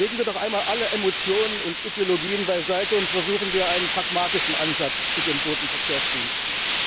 Lassen wir doch einmal alle Emotionen und Ideologien beiseite und versuchen wir einen pragmatischen Ansatz zu den Bodenverkehrsdiensten.